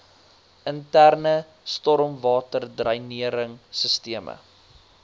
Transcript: interne stormwaterdreinering sisteme